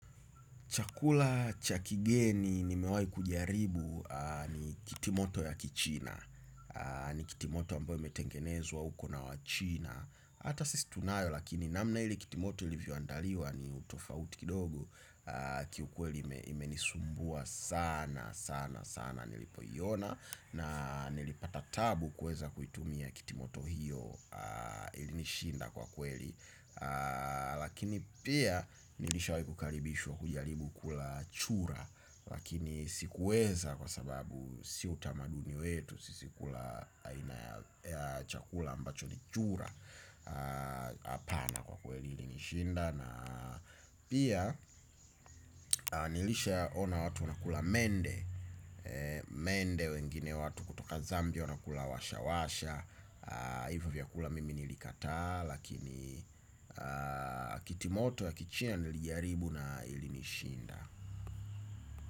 Chakula cha kigeni nimewai kujaribu ni kitimoto ya kichina. Ni kitimoto ambayo imeetengenezwa huko na wachina. Hata sisi tunayo lakini namna hili kitimoto ilivyoandaliwa ni utofauti kidogo. Kiukweli imenisumbua sana sana sana nilipoiona. Na nilipata taabu kuweza kuitumia kitimoto hiyo ilinishinda kwa kweli. Lakini pia nilishawai kukaribishwa kujaribu kula chura. Lakini sikuweza kwa sababu si utamaduni wetu. Sisi kula chakula ambacho ni chura. Apana kwa kweli nilishinda. Na pia nilisha ona watu unakula mende. Mende wengine watu kutoka zambia wanakula washa washa. Ivyo vyakula mimi nilikataa. Lakini kitimoto ya kichina nilijaribu. Na ilinishinda.